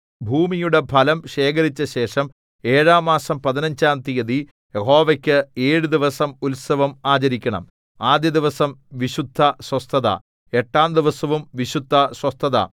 ഭൂമിയുടെ ഫലം ശേഖരിച്ചശേഷം ഏഴാം മാസം പതിനഞ്ചാം തീയതി യഹോവയ്ക്ക് ഏഴു ദിവസം ഉത്സവം ആചരിക്കണം ആദ്യ ദിവസം വിശുദ്ധസ്വസ്ഥത എട്ടാം ദിവസവും വിശുദ്ധസ്വസ്ഥത